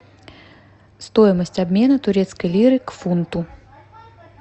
стоимость обмена турецкой лиры к фунту